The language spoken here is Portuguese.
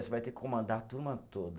Você vai ter que comandar a turma toda.